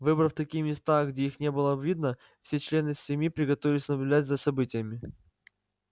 выбрав такие места где их не было видно все члены семьи приготовились наблюдать за событиями